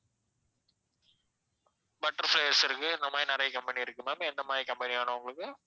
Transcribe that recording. Butterflies இருக்கு இந்த மாதிரி நிறைய company இருக்கு ma'am எந்த மாதிரி company வேணும் உங்களுக்கு?